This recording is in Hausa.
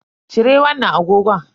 Cire wannan agogon.